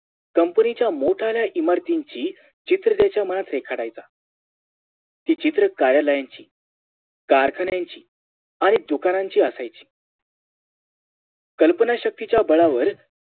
Company च्या मोठाल्या इमारतींची चित्र त्याच्या मनात रेखाटायचा ती चित्रे कार्यालयाची कारखान्याची आणि दुकानांची असायची कल्पना शक्तीच्या बळावर